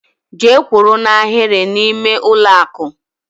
Gee kwụrụ n' Ahiri na ime ụlọ akụ!!!